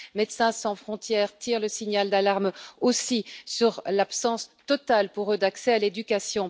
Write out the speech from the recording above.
Médecins sans frontières tire le signal d'alarme aussi sur l'absence totale, pour eux, d'accès à l'éducation.